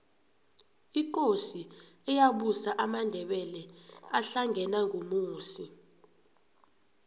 ikosi eyabusa amandebele ahlangena ngumusi